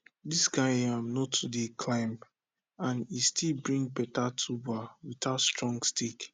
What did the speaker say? this kind yam no too dey climb and e still bring better tuber without strong stick